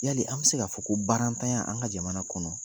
Yali an be se ka fɔ ko baara ntanya an ka jamana kɔnɔ